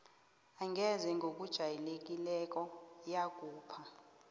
angeze ngokujayelekileko yakhupha